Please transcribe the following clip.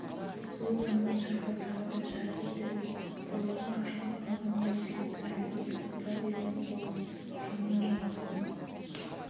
сол замат шырпы тағы да жарқ етті де ұрлығы ашылып қалғандай жігіт әлгіде созыла берген қолын жалма-жан кейін